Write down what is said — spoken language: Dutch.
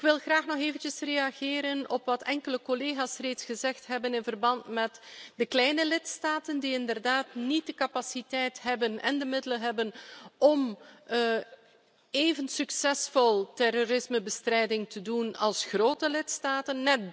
Ik wil graag nog eventjes reageren op wat enkele collega's reeds gezegd hebben in verband met de kleine lidstaten, die inderdaad niet de capaciteit en de middelen hebben om even succesvol aan terrorismebestrijding te doen als grote lidstaten.